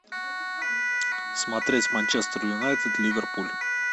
смотреть манчестер юнайтед ливерпуль